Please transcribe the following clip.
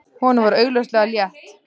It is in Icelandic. Honum var augljóslega létt.